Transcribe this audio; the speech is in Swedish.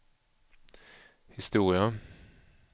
historia